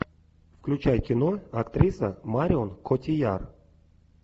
включай кино актриса марион котийяр